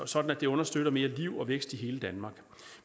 sådan at det understøtter mere liv og vækst i hele danmark